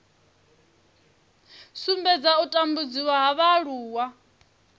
sumbedza u tambudziwa ha vhaaluwa